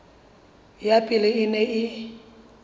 ya pele e neng e